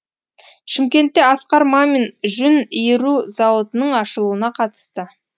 шымкентте асқар мамин жүн иіру зауытының ашылуына қатысты